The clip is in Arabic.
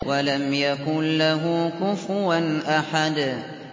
وَلَمْ يَكُن لَّهُ كُفُوًا أَحَدٌ